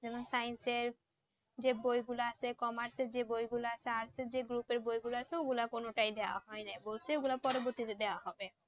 যেমন Science এর যে বইগুলো আছে Commerce এর যে বইগুলো আছে Art এর যে Group এর বইগুলো আছে ওগুলো কোনটাই দেয়া হয় নাই। বলছে ওগুলো পরবর্তীতে দেয়া হবে